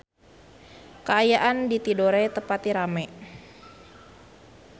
Kaayaan di Tidore teu pati rame